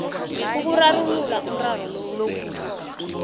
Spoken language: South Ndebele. ukurarulula umraro loyo